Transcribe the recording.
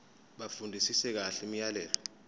bafundisise kahle imiyalelo